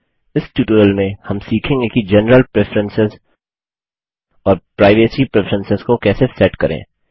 इस ट्यूटोरियल में हम सीखेंगे कि जेनरल प्रेफरेंसेस और प्राइवेसी प्रेफरेंसेस को कैसे सेट करें